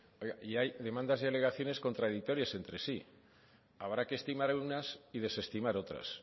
y hay demandas y alegaciones contradictorias entre sí habrá que estimar unas y desestimar otras